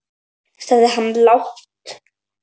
sagði hann lágt.